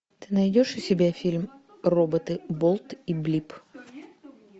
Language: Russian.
ты найдешь у себя фильм роботы болт и блип